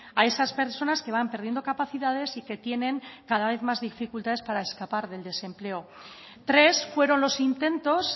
a esas personas que van perdiendo capacidades y que tienen cada vez más dificultades para escapar del desempleo tres fueron los intentos